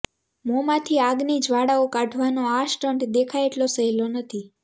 મોંમાંથી આગની જ્વાળાઓ કાઢાવાનો આ સ્ટન્ટ દેખાય એટલો સહેલો નથી